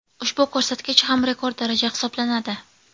Ushbu ko‘rsatkich ham rekord daraja hisoblanadi.